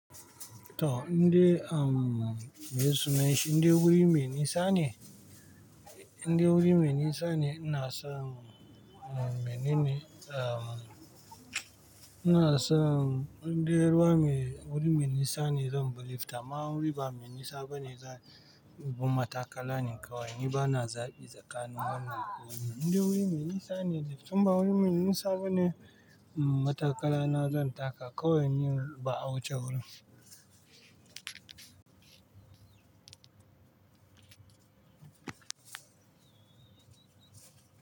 To, indai meye sunanshi indai wuri me nisa ne indai wuri me nisa ne inason menene ina son indai ruwa me wuri me nisa ne zanbi lift amma in wuri bame nisa bane zanbi matakala ne kawai ni bana zabi tsakanin wannan da wannan indai wuri me nisa ne lift inba wai nisa bane matakala na zan taka.